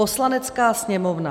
"Poslanecká sněmovna